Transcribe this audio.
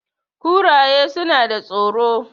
kuraye suna da tsoro